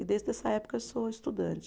E desde essa época eu sou estudante.